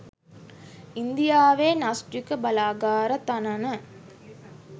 ඉන්දියාවේ න්‍යෂ්ටික බලාගාර තනන